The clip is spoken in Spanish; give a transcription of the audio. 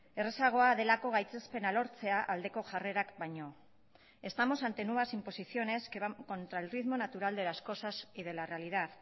errazagoa delako gaitzespena lortzea aldeko jarrerak baino estamos ante nuevas imposiciones que van contra el ritmo natural de las cosas y de la realidad